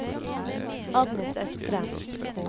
Agnes Østrem